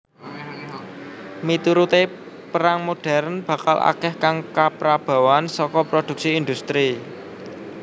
Miturute perang modern bakal akeh kang kaprabawan saka prodhuksi industri